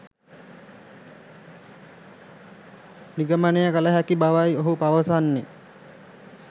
නිගමනය කළ හැකි බවයි ඔහු පවසන්නේ